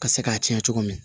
Ka se k'a tiɲɛ cogo min na